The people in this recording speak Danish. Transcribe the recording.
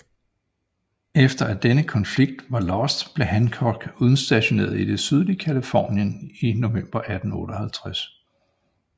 Efter at denne konflikt var lost blev Hancock udstationeret i det sydlige Californien i november 1858